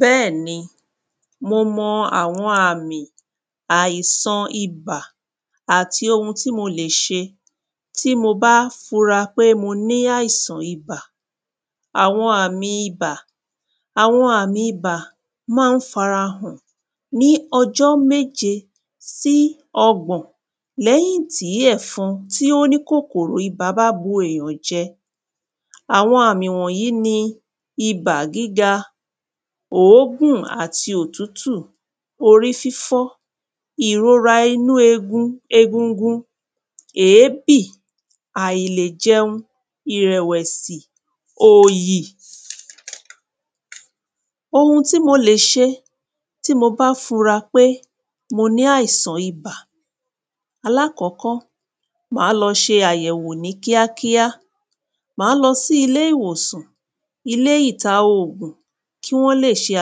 Bẹ́ẹ̀ ni mọ mọ àwọn àmì àìsan ibà àti ohun tí mo lè ṣeBẹ́ẹ̀ ni mọ mọ àwọn àmì àìsan ibà àti ohun tí mo lè ṣe tí mo bá fura pé mo ní àìsan ibà Àwọn àmì ibà Àwọn àmì ibà má ń f’ara hàn ní ọjọ́ méje sí ọgbọ̀n l'ẹ́yìn tí ẹfọn t’ó ni kòkòrò ibà bá bu èyàn jẹ. Àwọn àmì wọ̀nyí ni ibà gíga, òógùn àti òtútù, orí fífọ́, ìrora inú egungun. èébì, àìlèjẹun, ìrẹ̀wẹ̀si, òyì. Ohun tí mo lè ṣe tí mo bá fura pé mo ni àìsàn ibà Alákọ́kọ́, ma lọ ṣe àyẹ̀wo ní kíá kíá. Má lọ sí ilé ìwọ̀sàn, ilé ìtà oògùn kí wọ́n lè ṣe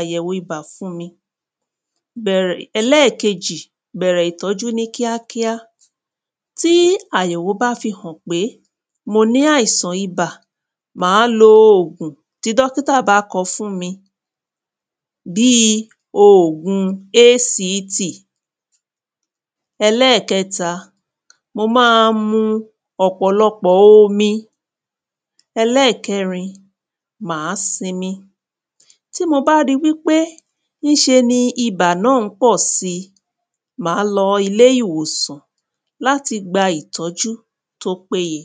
àyẹ̀wo fún mi. Ẹlẹ́kejì, bẹ̀rẹ̀ ìtọ́jú ní kíá kíá. Tí àyẹ̀wo bá fi hàn pé mo ní àìsàn ibà, má lo oògùn tí dọ́kítà bá kọ fún mi. Bí i oògùn ‘ACT’ Ẹlẹ́kẹta, mo má a mu ọ̀pọ̀lọpọ̀ omi. Ẹlẹ́kẹrin, mà á sinmi. Tí mo bá ri wí pé ní ṣe ni bà náà ń pọ̀ si, má lọ ilé ìwọ̀sàn l'áti gba ìtọ́jú t’ó pé ye.